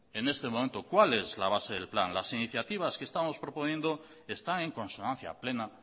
en este momento cuál es la base del plan las iniciativas que estamos proponiendo están en consonancia plena